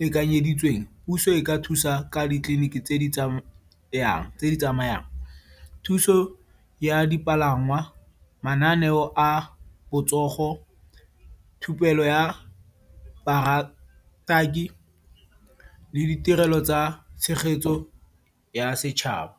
lekanyeditsweng, puso e ka thusa ka ditleliniki tse di tsamayang. Thuso ya dipalangwa, mananeo a botsogo, thupelo ya le ditirelo tsa tshegetso ya setšhaba.